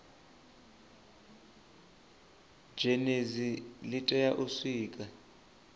zhenedzi li tea u sikwa